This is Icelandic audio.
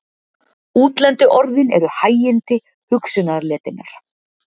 Útlendu orðin eru hægindi hugsunarletinnar.